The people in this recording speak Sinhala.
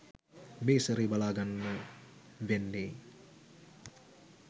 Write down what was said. මේ සැරේ බලා ගන්න වෙන්නේ.